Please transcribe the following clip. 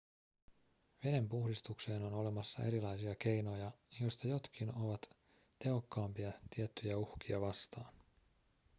veden puhdistukseen on olemassa erilaisia keinoja joista jotkin ovat tehokkaampia tiettyjä uhkia vastaan